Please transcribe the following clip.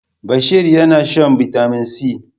Bashari na shan Bitamin C.